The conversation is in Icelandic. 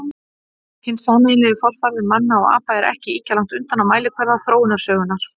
Hinn sameiginlegi forfaðir manna og apa er ekki ýkja langt undan á mælikvarða þróunarsögunnar.